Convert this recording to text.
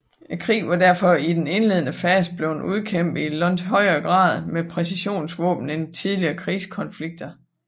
Krigen var derfor i den indledende fase blevet udkæmpet i langt højere grad med præcisionsvåben end tidligere krigskonflikter